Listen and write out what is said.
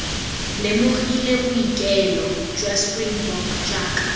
lemogile bookelo jwa springbok jaaka